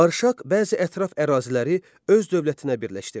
Arşaq bəzi ətraf əraziləri öz dövlətinə birləşdirdi.